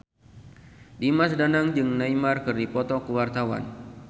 Dimas Danang jeung Neymar keur dipoto ku wartawan